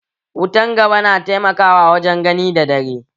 Wutan gaba na taimakawa wajen gani da dare